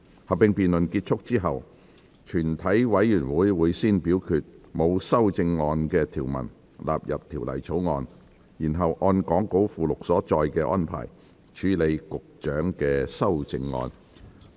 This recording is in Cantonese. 合併辯論結束後，全體委員會會先表決沒有修正案的條文納入《條例草案》，然後按講稿附錄所載的安排，處理局長的修正案。